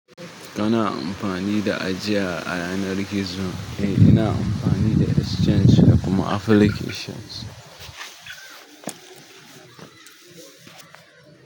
Kana amfanj sa ajiya a yanar gizo? Eh ina amfani da exchange da kuma application.